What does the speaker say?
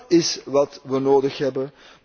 Dat is wat we nodig hebben.